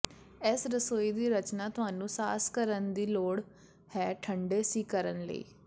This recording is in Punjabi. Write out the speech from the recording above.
ਇਸ ਰਸੋਈ ਦੀ ਰਚਨਾ ਤੁਹਾਨੂੰ ਸਾਸ ਕਰਨ ਦੀ ਲੋੜ ਹੈ ਠੰਡੇ ਸੀ ਕਰਨ ਲਈ